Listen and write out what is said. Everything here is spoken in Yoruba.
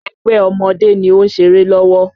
Ẹgbẹ́ ọmọdé ni ó ń ṣeré lọ́wọ́